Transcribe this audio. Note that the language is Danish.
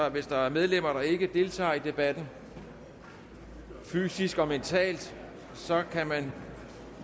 at hvis der er medlemmer der ikke deltager i debatten fysisk og mentalt kan man